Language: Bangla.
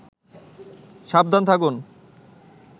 সাবধান থাকুন